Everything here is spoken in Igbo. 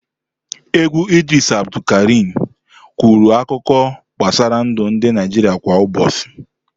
Egwu Idris Abdulkarim kwuru akụkọ gbasara ndụ ndị Naịjirịa kwa ụbọchị.